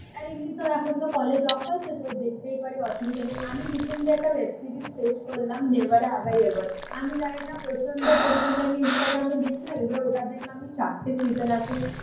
আর এমনি তো এখন তো কলেজ অফ আছে. তো দেখতেই পারি. অসুবিধা নেই. আমি রিসেন্টলি একটা ওয়েব সিরিজ শেষ করলাম. Never have I ever. আমি জানি না প্রচণ্ড পরিমাণে আমি ইনস্টাগ্রামে দেখছিলাম. এবার ওটা দেখলাম আমি চারটে সিজেন আছে